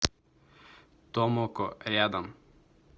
томоко рядом